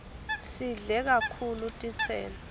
sidle kakhulu titselo